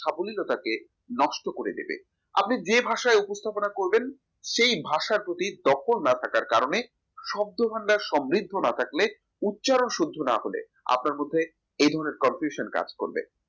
সাবলীলতাকে নষ্ট করে দেবে আপনি যে ভাষায় উপস্থাপনা করবেন সেই ভাষার প্রতি দক্ষর না থাকার কারণে শব্দ ভান্ডার সমৃদ্ধ না থাকলে উচ্চারণ শুদ্ধ না হলে আপনার মধ্যে এ ধরনের confuction কাজ করবে